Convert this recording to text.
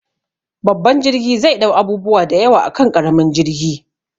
Babban jirgi zai ɗau abubuwa da yawa akan ƙaramin jirgi